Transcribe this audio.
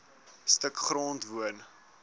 stuk grond woon